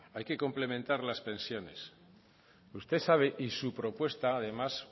hay que complementar las pensiones usted sabe y su propuesta además